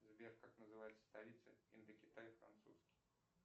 сбер как называется столица индокитай французский